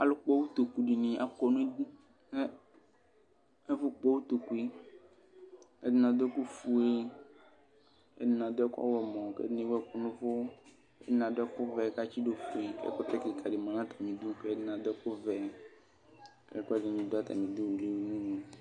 Alʋkpɔ ʋtokʋ dini akɔ nʋ idʋ nʋ ɛfʋkpɔ ʋtokʋe ɛdini adʋ ɛkʋfue ɛdini adʋ ɛkʋ ɔwlɔmɔ kʋ ɛdini ewʋ ɛkʋ nʋ ʋvʋ ɛdini adʋ ɛkʋvɛ kʋ atsidʋ ofue kʋ ɛkʋtɛ kika di manʋ atami idʋ ɛkʋvɛ kʋ ɛkʋɛdini dʋ atami idʋ wliwlini